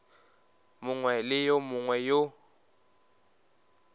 mongwe le yo mongwe yo